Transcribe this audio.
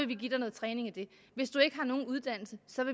vi give dig noget træning i det hvis du ikke har nogen uddannelse